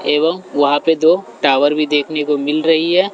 एवं वहां पे दो टावर भी देखने को मिल रही है।